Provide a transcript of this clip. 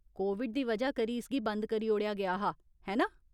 Covid दी वजह करी इसगी बंद करी ओड़ेआ गेआ हा, है ना ?